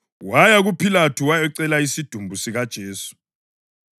Waya kuPhilathu wayacela isidumbu sikaJesu.